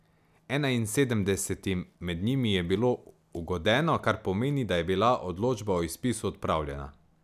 Enainsedemdesetim med njimi je bilo ugodeno, kar pomeni, da je bila odločba o izpisu odpravljena.